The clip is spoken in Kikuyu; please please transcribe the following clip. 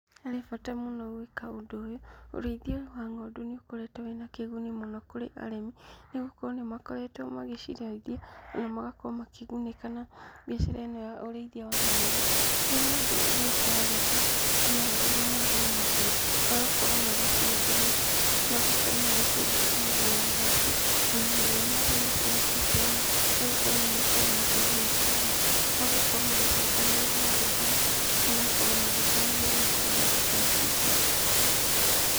Harĩ bata mũno gwĩka ũndũ ũyũ, ũrĩithia wa ng’ondu nĩũkoretũo wĩna kĩguni mũno kũrĩ arĩmi nĩgũkorũo nĩmakoretwo magĩcirĩithia na magakorwo makĩgunĩka na biacara ĩno ya ũrĩithia wa ng’ondu kũrĩa ngóndu nĩikoragũo cimerereirũo mũno nĩ maguoya magakorũo magĩcienja maguoya macio na maguoya macio matiteaga nĩgũkorũo nimakoragũo makĩgunĩka namo magakorũo magicokanĩrĩria handũ hamwe magakorũo magĩteithia na gũthondeka indo ingĩ.